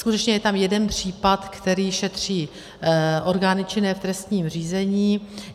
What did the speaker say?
Skutečně je tam jeden případ, který šetří orgány činné v trestním řízení.